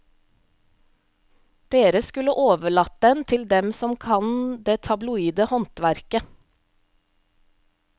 Dere skulle overlatt den til dem som kan det tabloide håndverket.